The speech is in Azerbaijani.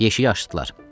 Yeşiyi açdılar.